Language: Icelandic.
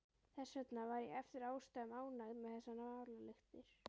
Þess vegna var ég eftir ástæðum ánægður með þessar málalyktir.